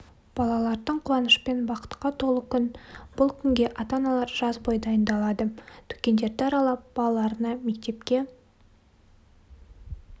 балалардың қуанышпен бақытқа толы күн бұл күнге ата-аналар жаз бой дайындалады дүкендерді аралап балаларына мектепке